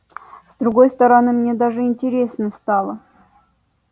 с другой стороны мне даже интересно стало